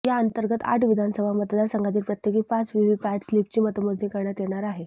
या अंतर्गत आठ विधानसभा मतदार संघातील प्रत्येकी पाच व्हीव्हीपॅट स्लीपची मतमोजणी करण्यात येणार आहे